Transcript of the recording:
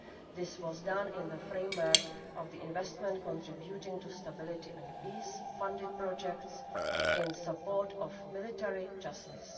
This was done in the framework of Investment contributing to Stability and Peace funded projects in support of military justice.